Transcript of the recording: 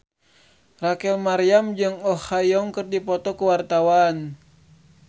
Rachel Maryam jeung Oh Ha Young keur dipoto ku wartawan